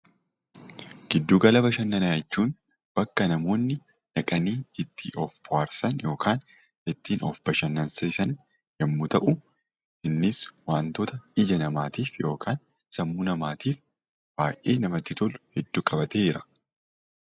Giddu gala bashannanaa jechuun bakka namoonni dhaqanii itti of bohaarsan (ittiin of bashannansiisan) yommuu ta'u, innis wantoota ija namaatiif yookaan sammuu namaatiif paartii namatti tolu hedduu qabatee jira.